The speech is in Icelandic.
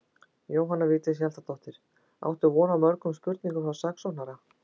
Jóhanna Vigdís Hjaltadóttir: Áttu von á mörgum spurningum frá saksóknara?